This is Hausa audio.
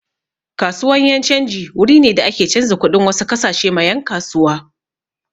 Kasuwan yan' canji wuri ne da ake canza kuɗin wasu kasashe ma yan' kasuwa.